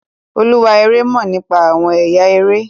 olúwa eré mọ nípa awọn ẹyà eré